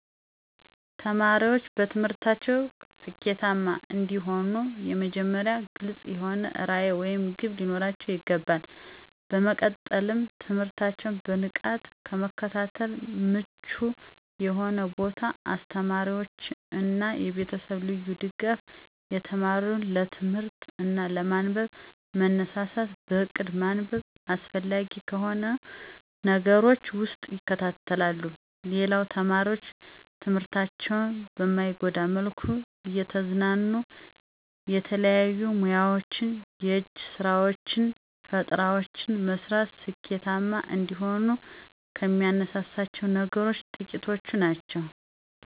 ተማሪዎች በትምህርታቸው ስኬታማ እንዲሆኑ በመጀመሪያ ግልፅ የሆነ ራዕይ ወይም ግብ ሊኖራቸው ይገባል። በመቀጠልም ትምህርታቸውን በንቃት ለመከታተል ምቹ የሆነ ቦታ፣ የአስተማሪዎች እና የቤተሰብ ልዩ ድጋፍ፣ የተማሪው ለትምህርት እና ለማንበብ መነሳሳት፣ በእቅድ ማንበብ አስፈላጊ ከሆኑ ነገሮች ውስጥ ይካተታሉ። ሌላው ተማሪዎች ትምህርታቸውን በማይጎዳ መልኩ እየተዝናኑ የተለያዩ ሙያወችን፣ የእጅ ስራወችን፣ ፈጠራወችን መስራት ስኬታማ እንደሆኑ ከሚያነሳሳቸው ነገሮች ጥቂቶቹ ናቸው።